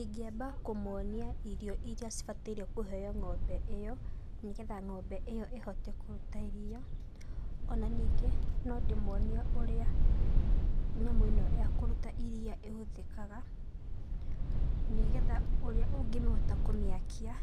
Ingĩamba kũmonia irio iria cibatairwo kũheo ng'ombe ĩo, nĩgetha ng'ombe ĩo ĩhote kũruta iria. Ona nyingĩ nondĩmonie ũrĩa nyamũ ĩno yakũruta iria ĩhũthĩkaga nanĩgetha ũrĩa ũngĩhota kũmĩakia